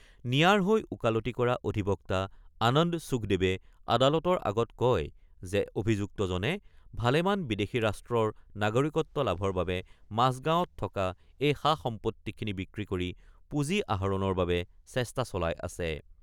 নিয়াৰ হৈ ওকালতি কৰা অধিবক্তা আনন্দ সুখদেৱে আদালতৰ আগত কয় যে অভিযুক্তজনে ভালেমান বিদেশী ৰাষ্ট্ৰৰ নাগৰিকত্ব লাভৰ বাবে মাজগাঁৱত থকা এই সা-সম্পত্তিখিনি বিক্ৰী কৰি পুঁজি আহৰণৰ বাবে চেষ্টা চলাই আছে।